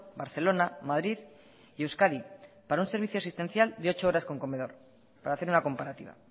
barcelona madrid y euskadi para un servicio asistencial de ocho horas con comedor para hacer una comparativa